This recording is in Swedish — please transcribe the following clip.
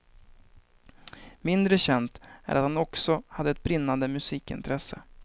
Mindre känt är att han också hade ett brinnande musikintresse.